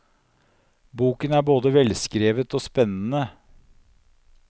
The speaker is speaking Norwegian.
Boken er både velskrevet og spennende.